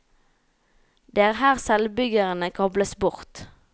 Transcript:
Det er her selvbyggerne kobles bort.